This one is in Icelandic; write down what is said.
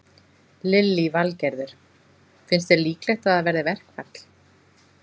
Lillý Valgerður: Finnst þér líklegt að það verði verkfall?